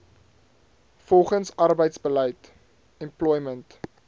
volgens arbeidsbeleid employment